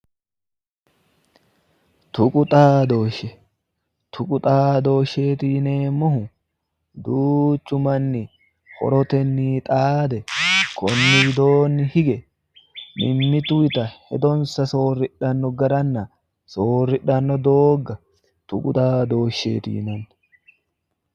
tuqu xaadooshshe tuqu xaadooshsheeti yineemmohu duuchu manni horotenni xaade konni widoonni hige mimmitunnita hedonsa soorridhanno garanna soorridhanno doogga tuqu xaadoosheeti yinanni.